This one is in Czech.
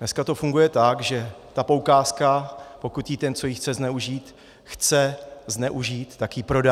Dneska to funguje tak, že ta poukázka, pokud ji ten, co ji chce zneužít, chce zneužít, tak ji prodá.